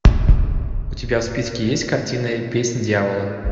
у тебя в списке есть картина песнь дьявола